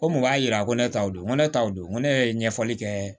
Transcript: Ko mun b'a yira ko ne ta don ko ne ta don ko ne yɛrɛ ye ɲɛfɔli kɛ